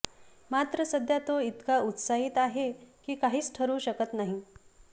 मात्र सध्या तो इतका उत्साहित आहे की काहीच ठरवू शकत नाही